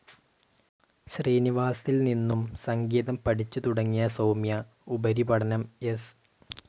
ശ്രീനിവാസിൽ നിന്നും സംഗീതം പഠിച്ചുതുടങ്ങിയ സൗമ്യ ഉപരിപഠനം എസ്.